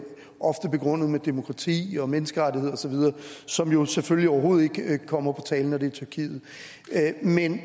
begrundet med demokrati og menneskerettigheder osv som jo selvfølgelig overhovedet ikke kommer på tale når det er tyrkiet